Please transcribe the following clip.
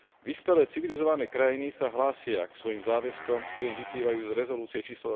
Vyspelé civilizované krajiny sa hlásia k svojim záväzkom, ktoré im vyplývajú z rezolúcie č.